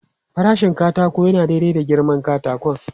Farashin katako yana daidai da girman katakon.